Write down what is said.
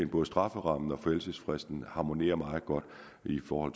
både strafferammen og forældelsesfristen harmonerer meget godt i forhold